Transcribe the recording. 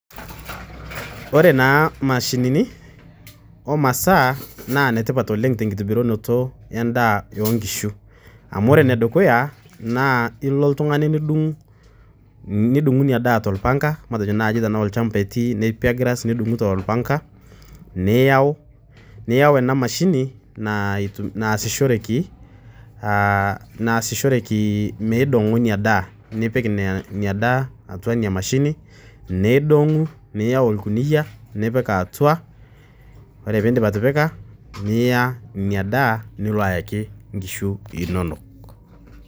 kore naa mashininii oo masaa naa netipat oleng tenkitibirunotoo ee ndaa oo nkishuu amu kore nodukuyaa naa iloo ltunganii nidung nidunguu inia daa te lpangaa matejoo naaji lshampa etii nappier grass nudunguu te lpangaa niyau anaa mashinii naasishorekii meidongoo inia daah niping inia daa atua inia mashinii neidong niyau lkuniyaa nipik atua kore piindip atipikaa niyaa inia daah nuloo ayakii nkishuu inonok.